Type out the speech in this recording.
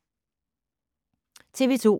TV 2